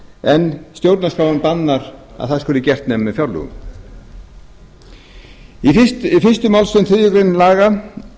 en stjórnarskráin bannar að það skuli gert nema með fjárlögum í fyrstu málsgrein þriðju